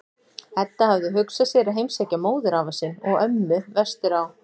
Edda hafði hugsað sér að heimsækja móðurafa sinn og-ömmu vestur á